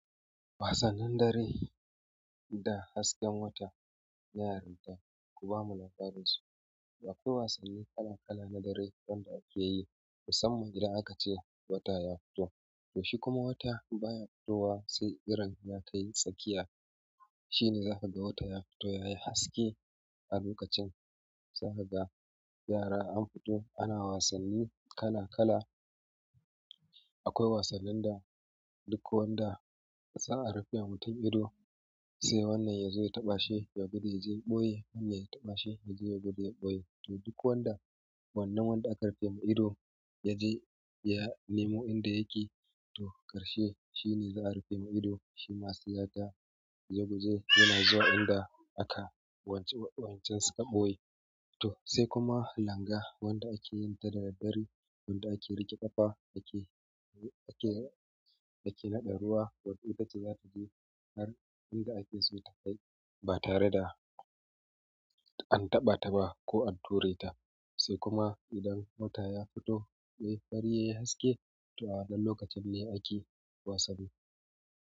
Wasannin dare da hasken wata, yaran da suka bamu labarin su. Akwai wasanni kala kala na dare wanda ake yi musamman idan aka ce wata ya fito. To shi kuma wata baya fitowa, sai irin ya kai tsakiya. Shi ne za ka ga wata ya fito yayi haske a lokacin. Za ka ga yara an fito ana wasanni kala kala. Akwai wasannin da duk wanda za'a rufe wa mutum ido, sai wannan ya zo ya taɓa shi ya je ya gudu ya ɓoye, wannan ya taɓa shi ya je ya gudu ya ɓoye to duk wanda wannan wanda aka rufe ma ido ya je ya nemo inda yake, to ƙarshe shi ne za a rufe ma ido. Shima sai ya je ya gudu yana zuwa inda aka wancen, wancan suka ɓoye. To sai kuma langa wanda ake yin ta da daddare, wanda ake riƙe ƙafa ake, ake, ake naɗa ruwa. Don ita ce zata je wanda ake so ta kai ba tare da an taɓa ta ba ko an ture ta. Sai kuma idan wata ya fito yai fari yayi haske, to a waɗannan lokacin ne ake wasanni.